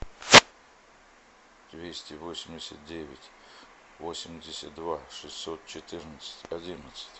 двести восемьдесят девять восемьдесят два шестьсот четырнадцать одиннадцать